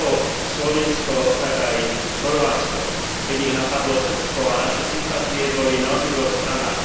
Ako Slovinsko, tak aj Chorvátsko, keď ich napadlo Srbsko, a naše sympatie boli na obidvoch stranách.